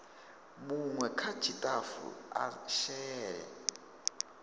munwe kha tshitafu a shele